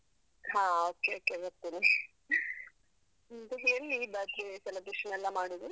ಹ okay, okay ಬರ್ತೇನೆ . ಮತ್ತೆ ಎಲ್ಲಿ birthday celebration ಎಲ್ಲ ಮಾಡುದು?